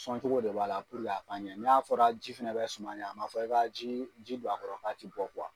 Sɔncogo de b'a la purke a ka ɲan, n'a fɔra ji fana bɛ suma ɲan, a ma fɔ i ka ji don a kɔrɔ k'a ti bɔ kuwa.